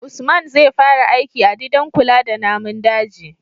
usman zai fara aiki a didan kula da namun daji